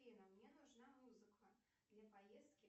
афина мне нужна музыка для поездки